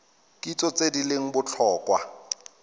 kitso tse di leng botlhokwa